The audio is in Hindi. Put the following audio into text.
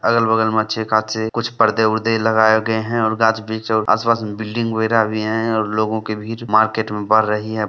अगल-बगल मे अच्छे-खासे कुछ पर्दे-वर्दे लगाये गये है और गाछ-वृक्ष और आस-पास मे बिल्डिंग वगेरा भी है और लोगो की भीड़ मार्केट में बढ़ रही है।